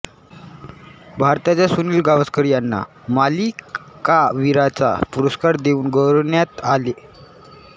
भारताच्या सुनील गावसकर यांना मालिकावीराचा पुरस्कार देऊन गौरविण्यात आले